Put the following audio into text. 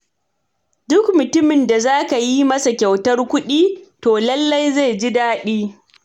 Duk mutumin da za ka yi masa kyautar kuɗi, to lalle zai ji daɗi.